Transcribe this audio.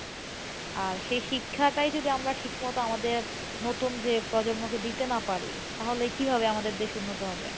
আর সেই শিক্ষাটাই যদি আমরা ঠিক মত আমাদের নতুন যে প্রজন্ম কে দিতে না পারি তাহলে কীভাবে আমাদের দেশ উন্নত হবে?